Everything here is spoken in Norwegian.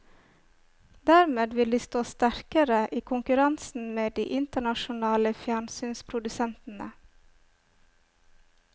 Dermed vil de stå sterkere i konkurransen med de internasjonale fjernsynsprodusentene.